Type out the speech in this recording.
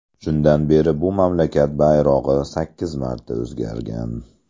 Shundan beri bu mamlakat bayrog‘i sakkiz marta o‘zgargan .